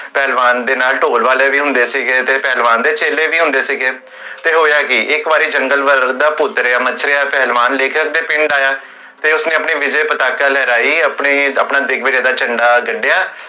ਪਹਲਵਾਨ ਦੇ ਨਾਲ ਢੋਲ ਵਾਲੇ ਵੀ ਹੁੰਦੇ ਸੀ, ਪਹਲਵਾਨ ਦੇ ਚੇਲੇ ਵੀ ਹੁੰਦੇ ਸੀ, ਫੇਰ ਹੋਇਆ ਕੀ? ਇਕ ਵਾਰੀ